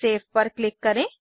save पर click करें